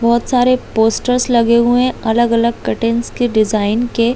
बहुत सारे पोस्टर्स लगे हुए हैं अलग-अलग कटिंगस के डिजाइन के--